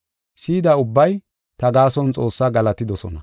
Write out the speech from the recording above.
Si7ida ubbay ta gaason Xoossaa galatidosona.